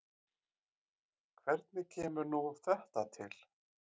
Hvernig kemur nú þetta til?